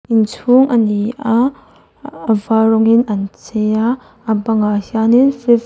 inchhûng ani a a var rawngin an chei a a bangah hianin fifth --